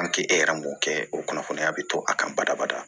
e yɛrɛ m'o kɛ o kunnafoniya bɛ to a kan badabada